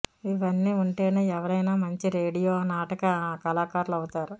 ఇవన్నీ ఉంటేనే ఎవరైనా మంచి రేడియో నాటక కళాకారులు అవుతారు